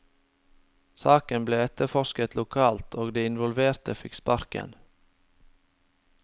Saken ble etterforsket lokalt, og de involverte fikk sparken.